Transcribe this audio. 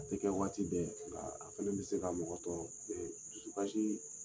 A bɛ waati bɛɛ nga